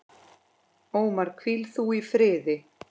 Ómar, hvíl þú í friði.